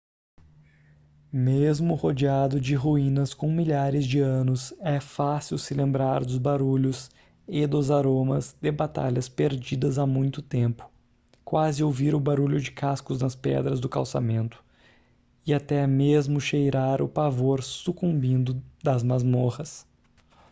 mesmo rodeado de ruínas com milhares de anos é fácil se lembrar dos barulhos e dos aromas de batalhas perdidas há muito tempo quase ouvir o barulho de cascos nas pedras do calçamento e até mesmo cheirar o pavor sucumbindo das masmorras